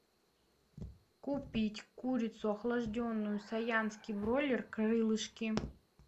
купить курицу охлажденную саянский бройлер крылышки